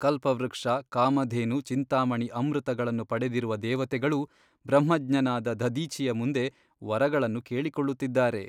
ಕಲ್ಪವೃಕ್ಷ ಕಾಮಧೇನು ಚಿಂತಾಮಣಿ ಅಮೃತಗಳನ್ನು ಪಡೆದಿರುವ ದೇವತೆಗಳು ಬ್ರಹ್ಮಜ್ಞನಾದ ದಧೀಚಿಯ ಮುಂದೆ ವರಗಳನ್ನು ಕೇಳಿಕೊಳ್ಳುತ್ತಿದ್ದಾರೆ.